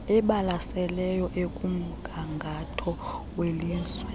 ebalaseleyo ekumgangatho welizwe